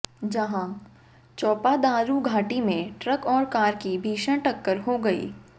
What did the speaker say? जहां चोपादारू घाटी में ट्रक और कार की भीषण टक्कर हो गई